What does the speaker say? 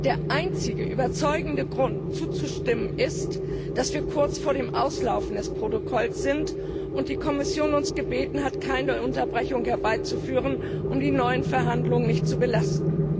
Der einzige überzeugende Grund zuzustimmen ist, dass wir kurz vor dem Auslaufen des Protokolls sind und die Kommission uns gebeten hat, keine Unterbrechung herbeizuführen, um die neuen Verhandlungen nicht zu belasten.